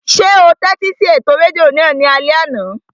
Ṣé o tẹ́tí sí ètò rédíò náà ní alẹ́ àná?